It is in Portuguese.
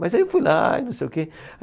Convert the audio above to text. Mas aí eu fui lá e não sei o quê.